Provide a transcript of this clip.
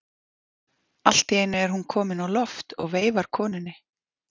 Allt í einu er hún komin á loft og veifar konunni.